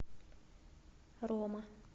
рома